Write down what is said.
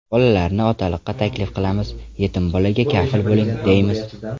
Bolalarni otaliqqa taklif qilamiz, yetim bolaga kafil bo‘ling, deymiz.